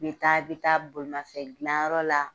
N bɛ taa, bɛ taa bolimafɛn dilan yɔrɔ la,